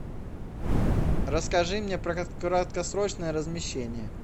расскажи мне про краткосрочное размещение